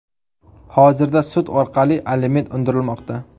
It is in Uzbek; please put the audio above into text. Hozirda sud orqali aliment undirilmoqda.